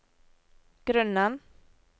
grunnen